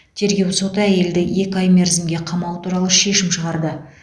тергеу соты әйелді екі ай мерзімге қамау туралы шешім шығарды